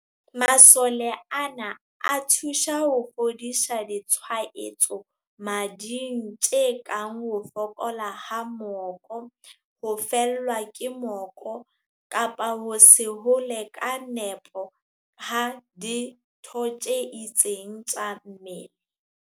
Masole ana, a thusa ho fodisa ditshwaetso mading tse kang ho fokola ha moko, ho fellwa ke moko kapa ho se hole ka nepo ha ditho tse itseng tsa mmele.